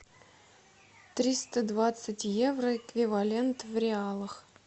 триста двадцать евро эквивалент в реалах